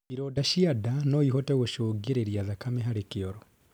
Ironda cia ndaa noĩhote gũcũngĩrĩrĩa thakame harĩ kioro